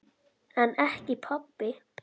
En ekki pabbi.